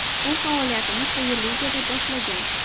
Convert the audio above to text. U faoliyatini quyi ligada boshlagan.